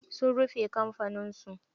Sun rufe kamfanin su.